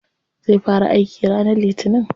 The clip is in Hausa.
Zai fara aiki ranar litinin.